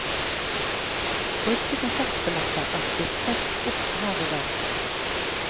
Brukte konsertbilletter er stiftet opp her og der.